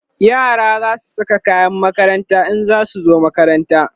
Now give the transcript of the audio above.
yara zasu Saka kayan makaranta in zasu zo makaranta